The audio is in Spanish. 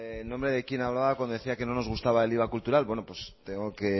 en nombre de quien hablaba cuando decía que no nos gustaba el iva cultural bueno pues tengo que